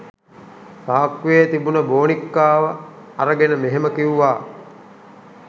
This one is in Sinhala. සාක්කුවේ තිබුණ බෝනික්කාව අරගෙන මෙහෙම කිව්වා.